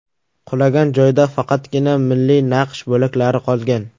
Qulagan joyda faqatgina milliy naqsh bo‘laklari qolgan.